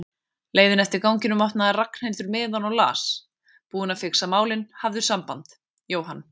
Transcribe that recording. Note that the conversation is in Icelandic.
leiðinni eftir ganginum opnaði Ragnhildur miðann og las: Búinn að fixa málin, hafðu samband, Jóhann